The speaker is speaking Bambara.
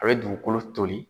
A bɛ dugukolo toli.